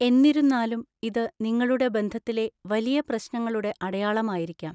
എന്നിരുന്നാലും, ഇത് നിങ്ങളുടെ ബന്ധത്തിലെ വലിയ പ്രശ്നങ്ങളുടെ അടയാളമായിരിക്കാം.